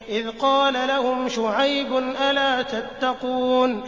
إِذْ قَالَ لَهُمْ شُعَيْبٌ أَلَا تَتَّقُونَ